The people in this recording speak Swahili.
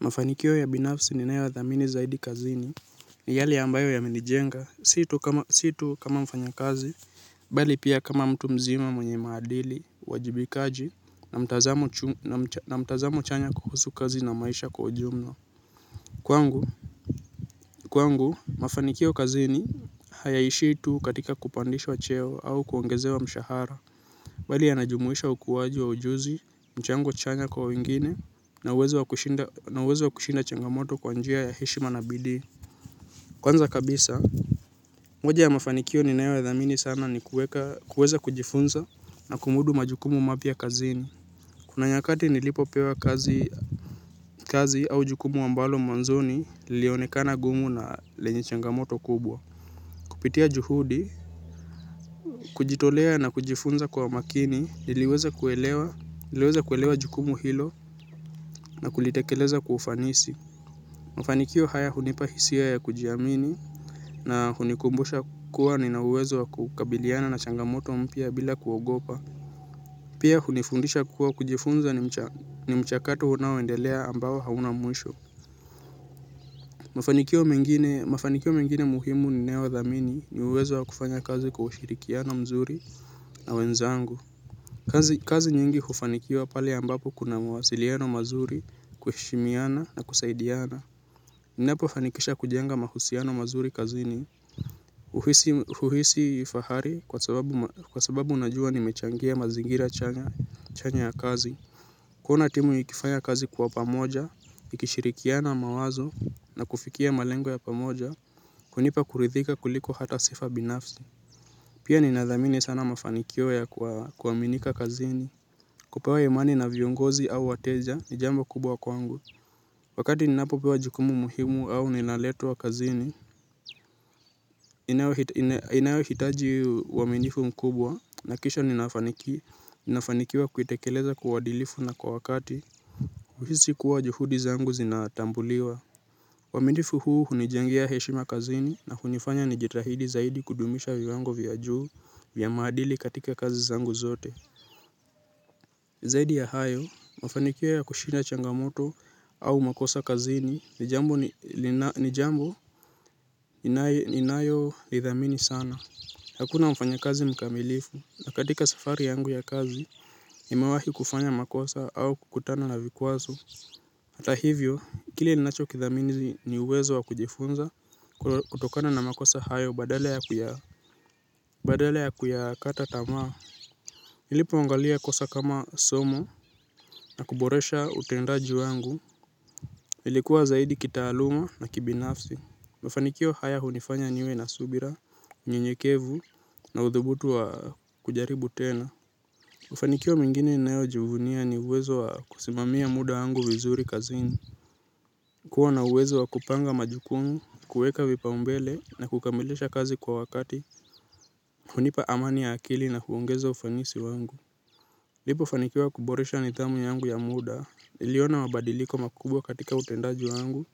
Mafanikio ya binafsi ninayothamini zaidi kazini. Ni yale ambayo yamenijenga, si tu kama mfanyakazi bali pia kama mtu mzima mwenye maadili, uwajibikaji, na mtazamo chanya kuhusu kazi na maisha kwa ujumla. Kwangu, kwangu, mafanikio kazini hayaishi tu katika kupandishwa cheo au kuongezewa mshahara bali yanajumuisha ukuwaji wa ujuzi, mchango chanya kwa wengine, na uwezo wa kushinda changamoto kwa njia ya heshima na bidii. Kwanza kabisa, moja ya mafanikio ninayothamini sana ni kuweza kujifunza na kumudu majukumu mapya kazini. Kuna nyakati nilipopewa kazi au jukumu ambalo mwanzoni lilionekana gumu na lenye changamoto kubwa. Kupitia juhudi, kujitolea na kujifunza kwa makini, niliweza kuelewa, niliweza kuelewa jukumu hilo na kulitekeleza kwa ufanisi. Mafanikio haya hunipa hisia ya kujiamini na hunikumbusha kuwa nina uwezo wa kukabiliana na changamoto mpya bila kuogopa. Pia hunifundisha kuwa kujifunza ni mchakato unaoendelea ambao hauna mwisho. Mafanikio mengine muhimu ninayothamini ni uwezo wa kufanya kazi kwa ushirikiano mzuri na wenzangu. Kazi nyingi hufanikiwa pale ambapo kuna mawasiliano mazuri kuheshimiana na kusaidiana. Ninapofanikisha kujenga mahusiano mazuri kazini huhisi fahari kwa sababu unajua nimechangia mazingira chanya ya kazi. Kuona timu ikifanya kazi kwa pamoja, ikishirikiana mawazo na kufikia malengo ya pamoja kunipa kuridhika kuliko hata sifa binafsi. Pia ninathamini sana mafanikio ya kuaminika kazini. Kupewa imani na viongozi au wateja ni jambo kubwa kwangu. Wakati ninapopewa jukumu muhimu au nilaletwa kazini, inayohitaji uaminifu mkubwa nahakikisha nafanikiwa kuitekeleza kwa uadilifu na kwa wakati huhisi kuwa juhudi zangu zinatambuliwa uaminifu huu hunijengea heshima kazini na hunifanya nijitahidi zaidi kudumisha viwango vya juu vya maadili katika kazi zangu zote. Zaidi ya hayo, mafanikio ya kushinda changamoto au makosa kazini ni jambo ninayolidhamini sana. Hakuna mfanyakazi mkamilifu na katika safari yangu ya kazi nimewahi kufanya makosa au kukutana na vikwazo. Hata hivyo, kile ninachokithamini ni uwezo wa kujifunza kutokana na makosa hayo badala ya kuyakata tamaa. Nilipoangalia kosa kama somo na kuboresha utendaji wangu. Nilikuwa zaidi kitaaluma na kibinafsi. Mafanikio haya hunifanya niwe na subira, mnyenyekevu na uthubutu wa kujaribu tena. Mafanikio mengini nayojivunia ni uwezo wa kusimamia muda wangu vizuri kazini. Kuwa na uwezo wa kupanga majukumu, kuweka vipaumbele na kukamilisha kazi kwa wakati. Hunipa amani ya akili na huongeza ufanisi wangu. Nilipofanikiwa kuboresha nidhamu yangu ya muda, niliona mabadiliko makubwa katika utendaji wangu